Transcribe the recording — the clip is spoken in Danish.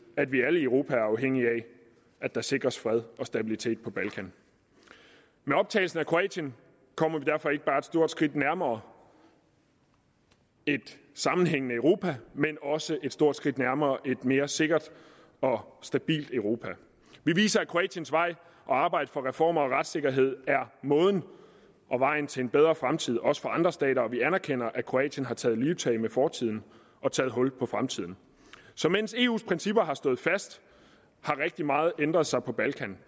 at vi alle i europa er afhængige af at der sikres fred og stabilitet på balkan med optagelsen af kroatien kommer vi derfor ikke bare et stort skridt nærmere et sammenhængende europa men også et stort skridt nærmere et mere sikkert og stabilt europa vi viser at kroatiens vej at arbejde for reformer og retssikkerhed er måden og vejen til en bedre fremtid også for andre stater og vi anerkender at kroatien har taget livtag med fortiden og taget hul på fremtiden så mens eus principper har stået fast har rigtig meget ændret sig på balkan